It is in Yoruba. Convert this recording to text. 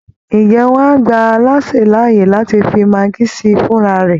Ǹjẹ́ wọ́n á gba alásè láàyè láti fi maggi sí i fúnra rẹ̀?